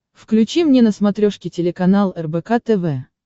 включи мне на смотрешке телеканал рбк тв